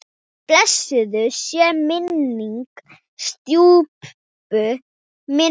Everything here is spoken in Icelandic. Blessuð sé minning stjúpu minnar.